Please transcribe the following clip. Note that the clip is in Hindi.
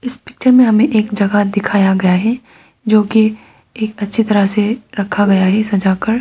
इस पिक्चर में हमें जगह दिखाया गया है जो की एक अच्छी तरह से रखा गया है सजा कर।